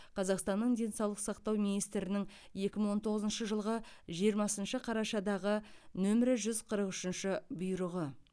қазақстанның денсаулық сақтау министрінің екі мың он тоғызыншы жылғы жиырмасыншы қарашадағы нөмірі жүз қырық үшінші бұйрығы